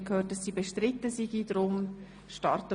Sie haben dieses Kreditgeschäft angenommen.